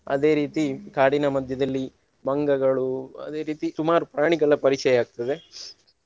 ಅದೇ ರೀತಿ ಕಾಡಿನ ಮಧ್ಯದಲ್ಲಿ ಮಂಗಗಳು ಅದೇ ರೀತಿ ಸುಮಾರು ಪ್ರಾಣಿಗಳ ಪರಿಚಯ ಆಗ್ತದೆ.